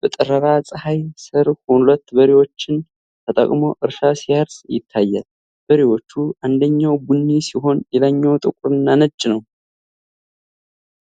በጠራራ ፀሐይ ስር ሁለት በሬዎችን ተጠቅሞ እርሻ ሲያርስ ይታያል። በሬዎቹ አንደኛው ቡኒ ሲሆን ሌላኛው ጥቁርና ነጭ ነው።